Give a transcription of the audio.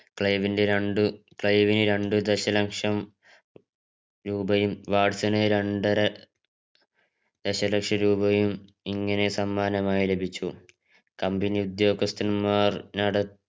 ക്ലൈവിന്റെ രണ്ടു ക്ലൈവിനു രണ്ട് ദശലക്ഷം രൂപയും വാട്ട്സന് രണ്ടര ദശലക്ഷം രൂപയും ഇങ്ങനെ സമ്മാനമായി ലഭിച്ചു company ഉദ്യോഗസ്ഥന്മാർ നട